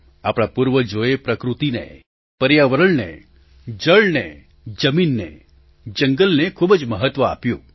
આપણા પૂર્વજોએ પ્રકૃતિને પર્યાવરણને જળને જમીનને જંગલને ખૂબ જ મહત્વ આપ્યું